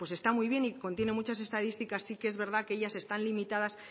está muy bien y contiene muchas estadísticas sí que es verdad que ellas están limitadas